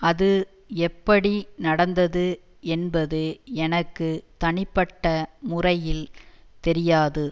அது எப்படி நடந்தது என்பது எனக்கு தனிப்பட்ட முறையில் தெரியாது